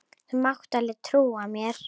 Þú mátt alveg trúa mér!